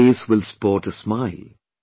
Whose face will sport a smile